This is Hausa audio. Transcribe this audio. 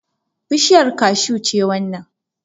Bushiyar kashu ce wannan